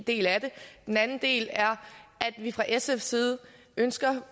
del af det den anden del er at vi fra sfs side ønsker